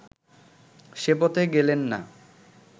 সে পথে গেলেন না